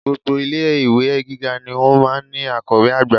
Gbogbo ilé-ìwé Gíga ni ó máa ń ní akọ̀wé àgbà